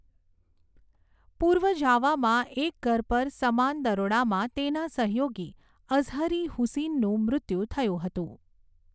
પૂર્વ જાવામાં એક ઘર પર સમાન દરોડામાં તેના સહયોગી અઝહરી હુસિનનું મૃત્યુ થયું હતું.